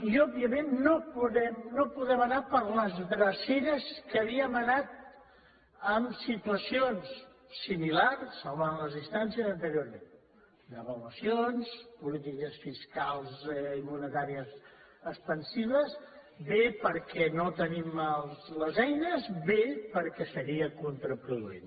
i òbviament no podem anar per les dreceres per què havíem anat en situacions similars salvant les distàncies anteriorment devaluacions polítiques fiscals i monetàries expansives bé perquè no tenim les eines bé perquè seria contraproduent